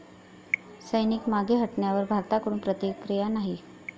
सैनिक मागे हटण्यावर भारताकडून प्रतिक्रिया नाही.